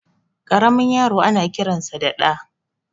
Karamin yaro ana kiransa da Ɗa